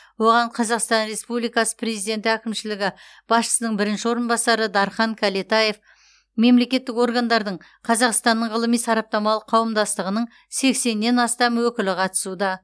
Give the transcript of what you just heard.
оған қазақстан республикасы президенті әкімшілігі басшысының бірінші орынбасары дархан кәлетаев мемлекеттік органдардың қазақстанның ғылыми сараптамалық қауымдастығының сексеннен астам өкілі қатысуда